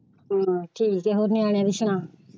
ਠੀਕ ਹੈ ਹੋਰ ਨਿਆਣਿਆਂ ਦੀ ਸੁਣਾ।